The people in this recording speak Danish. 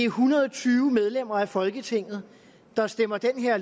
hundrede og tyve medlemmer af folketinget der stemmer det her